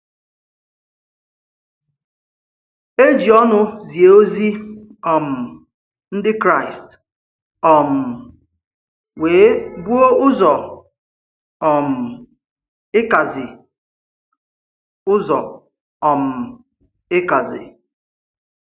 È ji ǒnụ̀ zìe òzìzì um Ndị̀ Kràịst um wee bùo ụzọ um ị̀kàzi. ụzọ um ị̀kàzi.